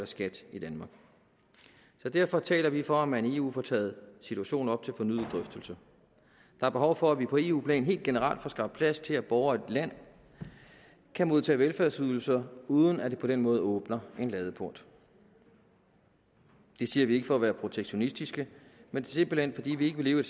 skat i danmark så derfor taler vi for at man i eu får taget situationen op til fornyet drøftelse der er behov for at vi på eu plan helt generelt får skabt plads til at borgere i et land kan modtage velfærdsydelser uden at det på den måde åbner en ladeport det siger vi ikke for at være protektionistiske men simpelt hen fordi vi ikke vil leve i